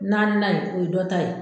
Naaninan in o ye dɔ ta ye.